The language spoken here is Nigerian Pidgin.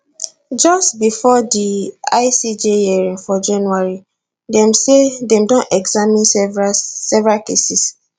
just bifor di icj hearing for january dem say dem don examine several several cases